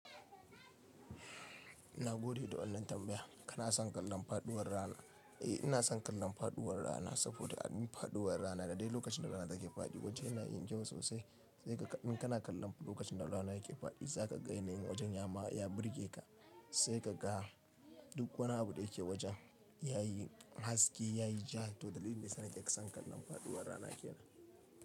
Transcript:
Ina gode da wannan tambaya. Kana son kallon faduwar rana? Eh, ina son kallon faduwar rana saboda an yi faduwar rana da dai lokacin da rana take fadi waje yana yin kyau sosai sai in kana kallon lokacin da rana yake fadi za ka ga yanayin wajen ya ma ya burge ka sai ka ga duk wani abu da yake wajen ya yi haske, ya yi ja to dalilin dayasa nake san kallon faduwar rana kenan.